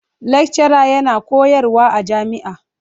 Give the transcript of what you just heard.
lekcara yana koyarwa a jami'a.